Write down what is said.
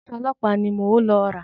Aṣọ ọlọ́pàá ni mò ń lọ rà.